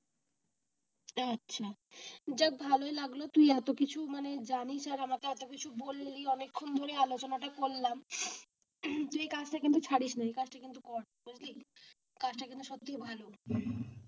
আচ্ছা যাক ভালই লাগলো তুই এত কিছু মানে জানিস আর আমাকে এত কিছু বললি অনেকক্ষণ ধরে আলোচনাটা করলাম। তুই এই কাজটা কিন্তু ছাড়িস না কাজটা কিন্তু কর বুঝলি কাজ তা কিন্তু সত্যি ভালো।